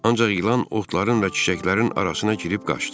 Ancaq ilan otların və çiçəklərin arasına girib qaçdı.